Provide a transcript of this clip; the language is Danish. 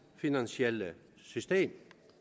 finansielle system